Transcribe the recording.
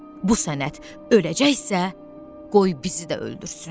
Bu sənət öləcəksə, qoy bizi də öldürsün.